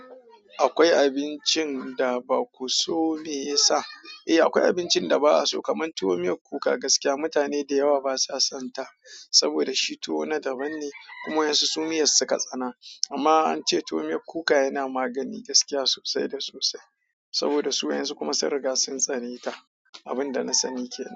Akwai abincin da ba ku so, me ya sa? Eh akwai abincin da ba a so kamar tuwo miyar kuka gaskiya mutane da yawa basa sonta saboda shi tuwo na daban ne kuma yanzu su miyar suka tsana. Amma an ce tuwo miyar kuka yana magani gaskiya sosai da sosai saboda su yanzu kuma sun riga sun tsane ta. Abun da na sani ke nan.